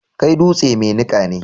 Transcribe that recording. Kai dutse mai niƙa ne.